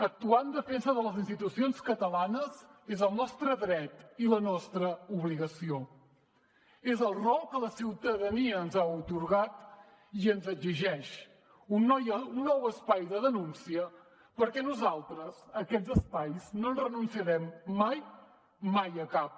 actuar en defensa de les institucions catalanes és el nostre dret i la nostra obligació és el rol que la ciutadania ens ha atorgat i ens exigeix un nou espai de denúncia perquè nosaltres a aquests espais no hi renunciarem mai mai a cap